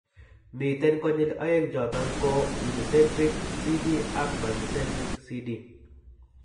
Miten konyil oeng' choton ko Unicentric CD ak multicentric CD